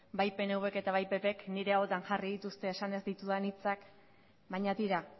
bai pnvk eta bai ppk nire ahotan jarri dituzte esan ez ditudan hitzak baina tira